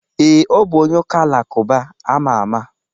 Ee, ọ bụ onye ụka-alakụba ama ama.